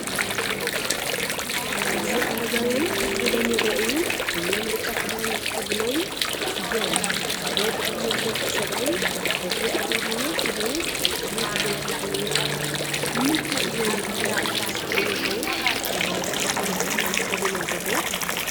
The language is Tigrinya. ኣብዚ ኣረጋውያን ኮፍ ኢሎም ይረኣዩ። ኩሎም ብጫ ክዳንን ተኸዲኖም እዮም። ሓደ ብዕድመ ዝደፍአ ሰብኣይ በትሪ ኣብ ኢዱ ሒዙ ኣብ ቅድሚት ደው ኢሉ ይርአ። ንምንታይ እዮም እቶም ኣብ ስእሊ ዘለዉ ሰባት ሓደ ዓይነት ክዳን ተኸዲኖም ዘለዉ?